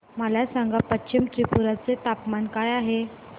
मला सांगा पश्चिम त्रिपुरा चे तापमान काय आहे